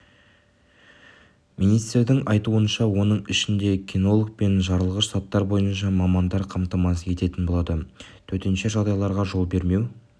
министрдіңайтуынша оның ішінде кинолог пен жарылғыш заттар бойынша мамандар қамтамасыз ететін болады төтенше жағдайларға жол бермеу